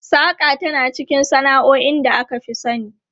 Saƙa tana cikin sana'o'in da aka fi sani.